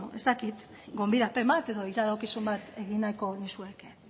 ez dakit gonbidapen bat ero iradokizun bat egin nahiko nizueke